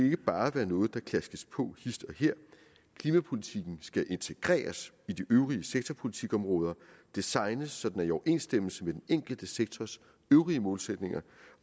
ikke bare være noget der klaskes på hist og her klimapolitikken skal integreres i de øvrige sektorpolitikområder og designes så den er i overensstemmelse med den enkelte sektors øvrige målsætninger